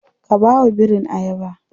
Ka bawa birin ayaba.